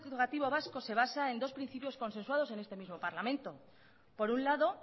educativo vasco se basa en dos principios consensuados en este mismo parlamento por un lado